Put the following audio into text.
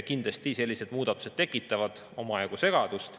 Kindlasti sellised muudatused tekitavad omajagu segadust.